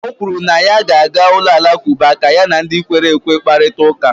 o kwuru na ya ga-aga ụlọ alakụba ka ya na ndị kwere ekwe kparịta ụka